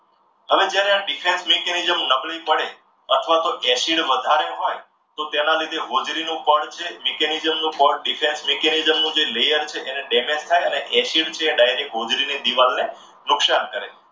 હવે જ્યારે આ mechanism નબળી પડે અથવા તો acid વધારે હોય તો તેના લીધે હોજરીનો જે પડ છે mechanism નું પડ defense નું જે layer છે એને damage થાય અને acid જે છે એ હોજરીની દીવાલને નુકસાન કરે.